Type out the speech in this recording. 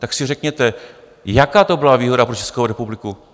Tak si řekněte, jaká to byla výhoda pro Českou republiku?